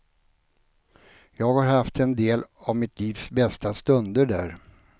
Jag har haft en del av mitt livs bästa stunder där.